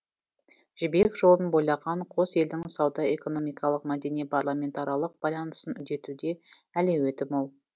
жібек жолын бойлаған қос елдің сауда экономикалық мәдени парламентаралық байланысын үдетуде әлеуеті мол